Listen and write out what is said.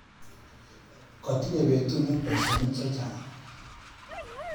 Katinye betunyu baishinik chechang.